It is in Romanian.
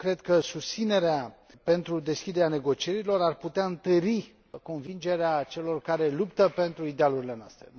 Eu cred că susținerea pentru deschiderea negocierilor ar putea întări convingerea celor care luptă pentru idealurile noastre.